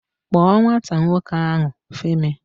Kpọọ nwata nwoke ahụ, Femi!